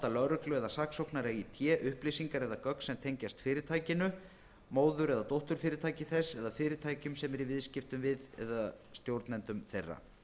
lögreglu eða saksóknara í té upplýsingar eða gögn sem tengjast fyrirtækinu móður eða dótturfyrirtæki þess eða fyrirtækjum sem það er í viðskiptum við eða stjórnendum þeirra